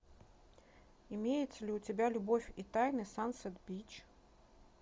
имеется ли у тебя любовь и тайны сансет бич